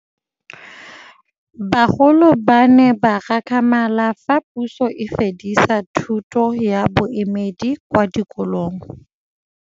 Bagolo ba ne ba gakgamala fa Pusô e fedisa thutô ya Bodumedi kwa dikolong.